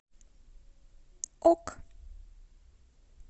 ок